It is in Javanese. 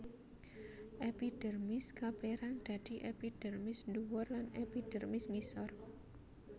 Epidermis kapérang dadi epidermis ndhuwur lan epidermis ngisor